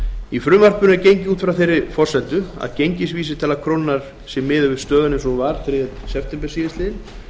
í frumvarpinu var gengið út frá þeirri forsendu að gengisvísitala krónunnar væri óbreytt frá stöðu þriðja september síðastliðinn